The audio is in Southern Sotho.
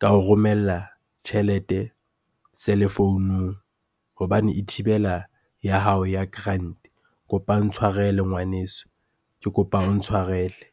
ka o romella tjhelete cellphone-ung hobane e thibela ya hao ya grant-e. Kopa o ntshwarele ngwaneso, ke kopa o ntshwarele.